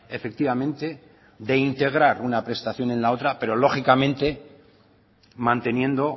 efectivamente de integrar una prestación en la otra pero lógicamente manteniendo